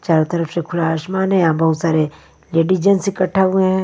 चारों तरफ से खुला आसमान है यहां बहुत सारे लेडीज जेंस इकट्ठा हुए हैं।